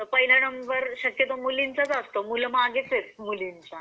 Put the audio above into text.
त पहिला नंबर शक्यतो मुलींचाच असतो मुलं मागेच आहे मुलींच्या.